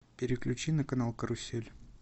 переключи на канал карусель